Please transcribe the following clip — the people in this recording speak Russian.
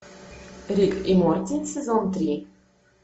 рик и морти сезон три